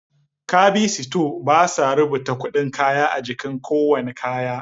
Kabi sito basa rubata kuɗin kayan a jiki kowanne kaya